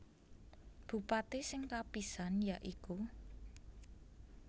Bupati sing kapisan ya iku